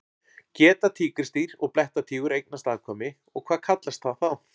Geta tígrisdýr og blettatígur eignast afkvæmi og hvað kallast það þá?